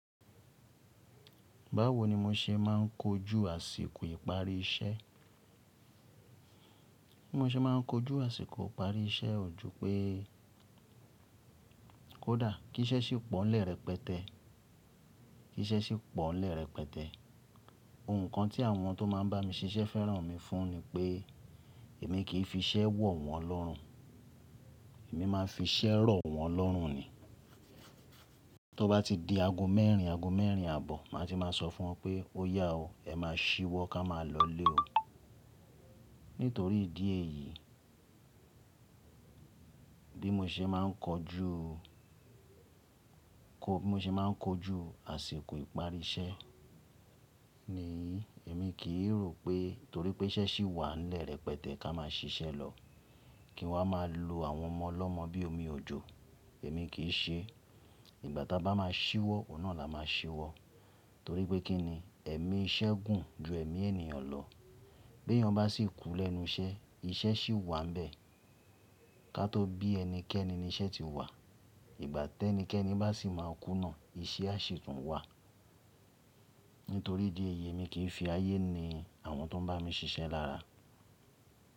Báwo ni mo ṣe máà ń kojú àsìkò ìparí iṣẹ́? Bí mo ṣe máà ń kojú àsìkò ìparí iṣẹ́ ò jupé kódà kí iṣẹ́ sì pọ̀ n'le repẹtẹ́. Kí iṣẹ́ sì pọ̀ lẹ́rẹ̀ pẹtẹ́. Ohun kan tí àwọn tó máà ń bá mi ṣiṣẹ́ fẹ́ràn mi fún ni pé èmi kì í fi iṣẹ́ wọ̀ wọ́n lọ́rùn. Èmi máa n fi iṣẹ́ rọ̀ wọ́n lọ́rùn ni. Tí ó bá ti di ago mẹ́rin, ago mẹ́rin àbọ̀, màá ti máa sọ fún wọn pé ó yá o, ẹ máa ṣíwọ́ ká máa lọlé o. Nítorí ìdí èyí bí mo ṣe máà ń kojú, bí mo ṣe máà ń kojú àsìkò ìparí iṣẹ́ ni èmi kì í rò pé torí pé iṣẹ́ sì wà n'le pẹtẹ́ ká máa ṣiṣẹ́ lọ. Kí waá máa lo àwọn ọmọ lọ́mọ bí omi òjò. Èmi kì í ṣe. Ìgbà tá bá máa ṣíwọ́, òun náà la máa ṣiwọ́. Torí pé kí ni? Ẹ̀mí iṣẹ́ gùn ju ẹ̀mí ènìyàn lọ. Bí èèyàn bá sì kú lẹ́nu iṣẹ́, iṣẹ́ sì wà ń bẹ. Ká tó bí ẹnikẹ́ni ni iṣẹ́ ti wà, ìgbà tí ẹnikẹ́ni bá sì máa kú náà, iṣẹ́ a sì tún wà. Nítorí ìdí èyí èmi kì í fi ayé ni àwọn tó ń bá mi ṣiṣẹ́ lára.